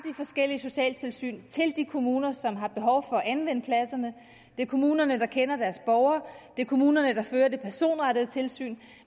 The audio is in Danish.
forskellige socialtilsyn til de kommuner som har behov for at anvende pladserne det er kommunerne der kender deres borgere det er kommunerne der fører det personrettede tilsyn